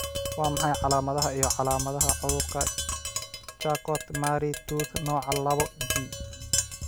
Waa maxay calaamadaha iyo calaamadaha cudurka Charcot Marie Tooth nooca laboG?